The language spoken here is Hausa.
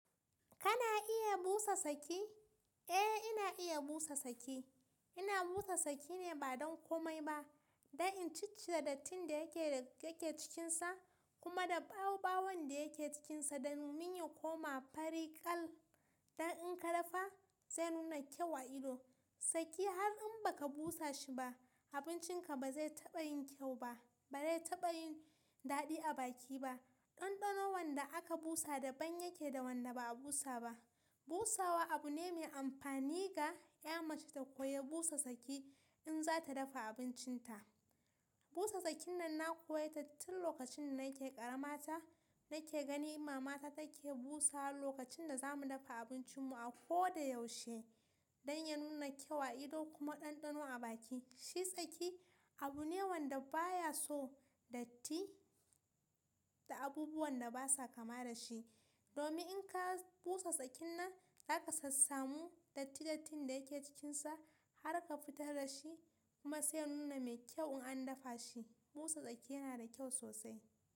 Kana iya busa saki? Eh, ina iya busa saki. Ina busa saki ne ba don komai ba, don in ciccire dattin da yake da yake cikinsa kuma da ɓawoɓawon da yake cikinsa domin ya koma fari kal don in ka dafa zai nuna kyau a ido. Saki har in ba ka busa shi ba, abincinka ba zai taɓa yin kyau ba, ba zai taɓa yin daɗi a baki ba. Ɗanɗano wanda aka busa daban yake da wanda ba a busa ba. Busawa abu ne mai amfani ga ya mace ta koyi busa saki in za ta dafa abincinta. Busa sakin nan na koye ta tun lokacin da nake ƙaramata nake gani mama ta take busawa lokacin da zamu dafa abincinmu a kodayaushe don ya nuna kyau a ido kuma ɗanɗano a baki. Shi saki abu ne wanda baya so datti da abubuwan da basa kama da shi. Domin in ka busa sakin nan, zaka sassamu datti dattin da yake cikinsa har ka fitar da shi kuma sai ya nuna mai kyau in an dafa shi. Busa saki yana da kyau sosai.